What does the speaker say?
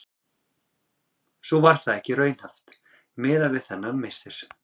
Svo var það ekki raunhæft miða við þennan missir.